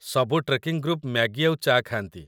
ସବୁ trekking group Maggi ଆଉ ଚା' ଖାଆନ୍ତି ।